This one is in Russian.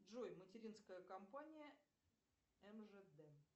джой материнская компания мжд